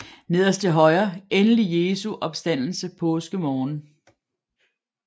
Nederst til højre endelig Jesu opstandelse påskemorgen